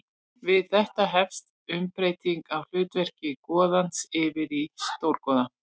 Við þetta hefst umbreyting á hlutverki goðans yfir í stórgoða.